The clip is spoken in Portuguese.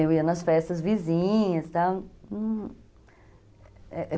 Eu ia nas festas vizinhas, tal, é é